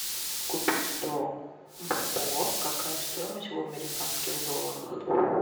купить сто бальбоа какая стоимость в американских долларах